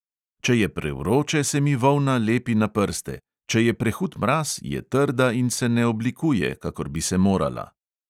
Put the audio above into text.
Če je prevroče, se mi volna lepi na prste, če je prehud mraz, je trda in se ne oblikuje, kakor bi se morala.